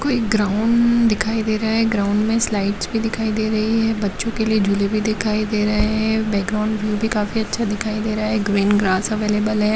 कोई ग्राउंड दिखाई दे रहा है ग्राउंड में स्लाइड भी दिखाई दे रही है बच्चों के लिए झूले भी दिखाई दे रहे हैं बैकग्राउंड भी काफी अच्छा दिखाई दे रहा है ग्रीन ग्रास अवेलेबल है।